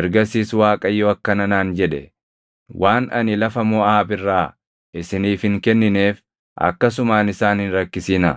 Ergasiis Waaqayyo akkana naan jedhe; “Waan ani lafa Moʼaab irraa isiniif hin kennineef akkasumaan isaan hin rakkisinaa;